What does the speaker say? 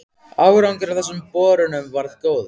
Árangur af þessum borunum varð góður.